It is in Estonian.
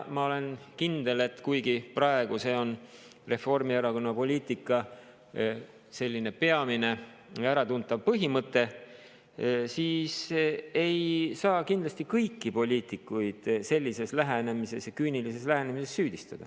Ma olen kindel, et kuigi see on praegu Reformierakonna poliitika peamine ja äratuntav põhimõte, siis kindlasti ei saa sellises küünilises lähenemises süüdistada kõiki poliitikuid.